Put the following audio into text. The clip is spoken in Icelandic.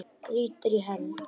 Grýttir í hel.